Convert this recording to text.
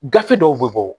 Gafe dɔw bɛ bɔ